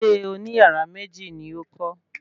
Ilé oní yàrá méjì ni ó kọ́